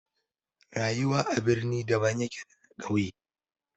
Rayuwar birni daban yake da na ƙauye.